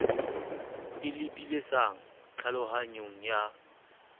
e lebi sang tlhalohanyong ya